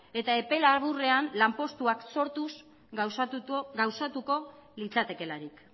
eta epe laburrean lanpostuak sortuz gauzatuko litzatekeelarik